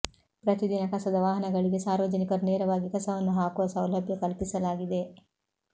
ಪ್ರತಿದಿನ ಕಸದ ವಾಹನಗಳಿಗೆ ಸಾರ್ವಜನಿಕರು ನೇರವಾಗಿ ಕಸವನ್ನು ಹಾಕುವ ಸೌಲಭ್ಯ ಕಲ್ಪಿಸಲಾಗಿದೆ